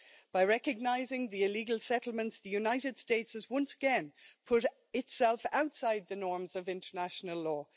By recognising the illegal settlements, the United States has once again put itself outside the norms of international law.